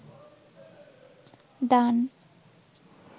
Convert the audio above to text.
দান